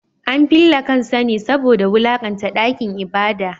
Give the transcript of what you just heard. An fille kansa ne saboda wulakanta dakin ibada.